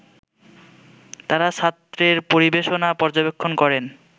তার ছাত্রের পরিবেশনা পর্যবেক্ষণ করেন